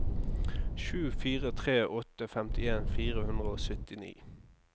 sju fire tre åtte femtien fire hundre og syttini